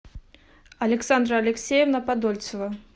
александра алексеевна подольцева